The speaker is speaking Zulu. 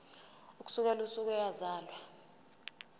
ukusukela usuku eyazalwa